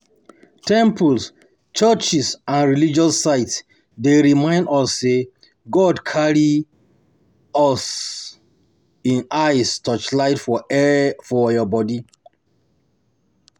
Temples, churches and religious sites dey remind us sey God carry um im eyes touchlight for our body